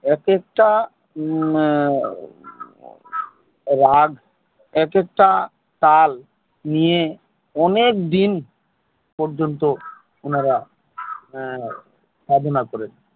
এক এক টা রাগ এক এক টা তাল নিয়ে অনেকদিন পর্যন্ত আপনারা ঞা সাধনা করেছে